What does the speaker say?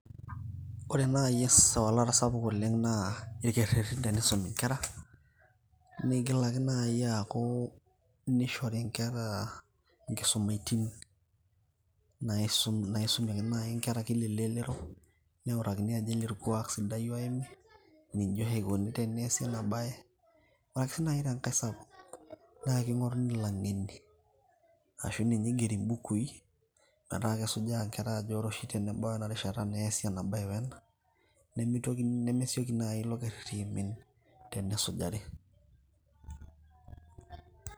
Ore nai esawalari sapuk oleng naa rkererin teneisumi nkera nigilari nai aaku nishori nkera nkisumaitin naisum naisumieki nai nkera kila elelero neutakini irkuak sidan, ninye oshi eikuni teneasi ena bae arashu nai enkai sapuk ore langeni ashu ninye igeri mbukui metaa kesujaa nkera ajo ore oshi pebay ena rishata neasi ena bae we ena, nemeitoki nai ilo kererin tenesujari .